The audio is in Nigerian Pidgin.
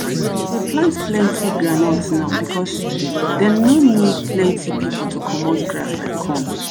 plant plenty groundnut now because dem no need plenty pipo to commot grass like corn.